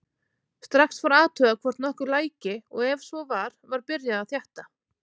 Strax var athugað hvort nokkuð læki og ef svo var var byrjað að þétta.